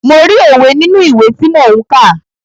Mo rí òwe nínú ìwé tí mò ń kà.